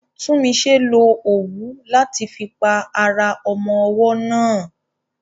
Tunmise lo òwú láti fi pa ara ọmọ ọwọ́ náà.